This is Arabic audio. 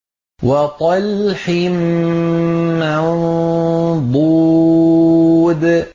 وَطَلْحٍ مَّنضُودٍ